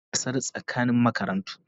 Kar ka je gasar tsakanin makarantu.